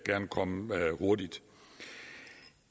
komme hurtigt